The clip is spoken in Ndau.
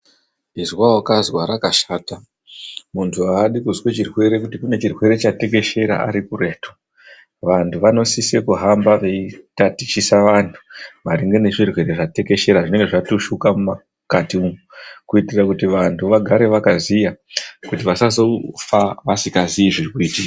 Izwa waķazwa rakashata. Muntu aadi kuzwa chirwere, kuti kune chirwere chatekeshera ari kuretu. Vantu vanosise kuhamba veitatichisa vantu maringe nezvirwere zvatekeshera, zvinonge zvatushuka mukati umwu kuitira kuti vantu vagare vakaziya, kuti vasazofa vasinga zii zviri kuitika.